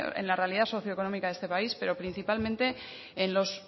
en la realidad socioeconómica de este país pero principalmente en los